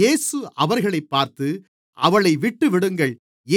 இயேசு அவர்களைப் பார்த்து அவளை விட்டுவிடுங்கள்